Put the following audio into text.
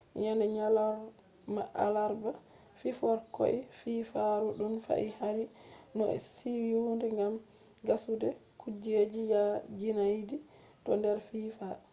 yende nyalorma alarba fiforkoi fiifarudun fahin hari no siyude gam gassude kujeji yaajinaidi to nder fiifa